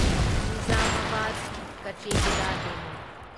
ꯅꯤꯓꯥꯃꯥꯕꯥꯗ ꯀꯆꯦꯒꯨꯗꯥ ꯗꯦꯃꯨ